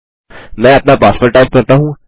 मैं अपना password type करता हूँ